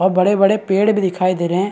और बड़े - बड़े पेड़ भी दिखाई दे रहे हैं।